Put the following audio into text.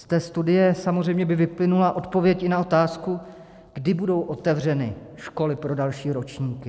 Z té studie samozřejmě by vyplynula odpověď i na otázku, kdy budou otevřeny školy pro další ročníky.